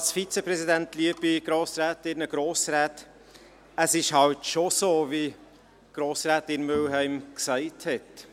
Es ist halt schon so, wie Grossrätin Mühlheim gesagt hat: